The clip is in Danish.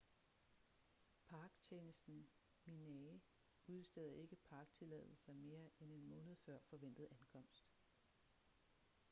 parktjenesten minae udsteder ikke parktilladelser mere end en måned før forventet ankomst